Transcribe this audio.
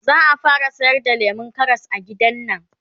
zaa fara sayar da lemun Karas a gidannan